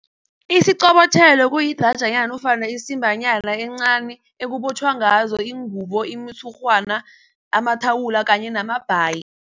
Isiqobotjhelo kuyidrajanyana nofana isimbanyana encani ekubotjhwa ngazo iingubo, imitshurhwana, amathawula kanye namabhayi.